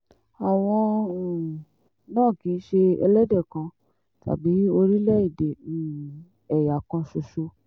àwọn um náà kì í ṣe ẹlẹ́dẹ̀ kan tàbí orílẹ̀-èdè um ẹ̀yà kan ṣoṣo